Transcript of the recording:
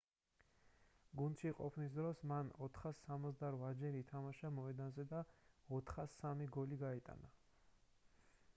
გუნდში ყოფნის დროს მან 468-ჯერ ითამაშა მოედანზე და 403 გოლი გაიტანა